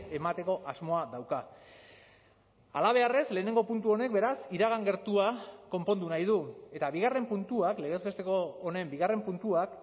emateko asmoa dauka halabeharrez lehenengo puntu honek beraz iragan gertua konpondu nahi du eta bigarren puntuak legez besteko honen bigarren puntuak